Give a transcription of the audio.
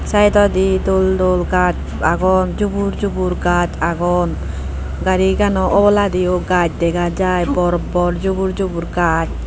saidodi dol dol gajch agon jubur jubur gajch agon garigano oboladiyo gajch dega jaai bor bor jubur jubur gajch.